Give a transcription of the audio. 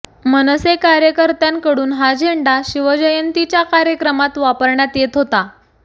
मनसे कार्यकर्त्यांकडून हा झेंडा शिवजयंतीच्या कार्यक्रमात वापरण्यात येत होता